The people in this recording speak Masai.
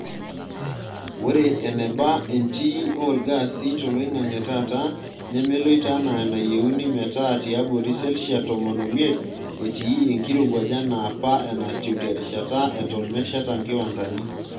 Ore eneba entii olgaasi toloingange taata nemeloito anaa enayieuni metaa tiabori selshia tomon omiet etii enkirowuaj enaa apa enatiu terishata eton mesheta nkiwandani.